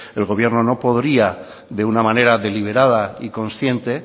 el gobierno no podría de una manera deliberada y consciente